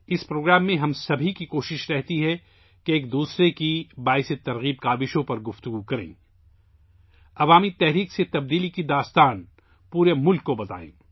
اس programme میں ہماری کوشش ہے کہ ہم ایک دوسرے کی متاثر کن کوششوں پر تبادلہ خیال کریں، عوامی تحریک کے ذریعے تبدیلی کی کہانی پورے ملک کو سنائیں